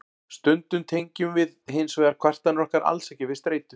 stundum tengjum við hins vegar kvartanir okkar alls ekki við streitu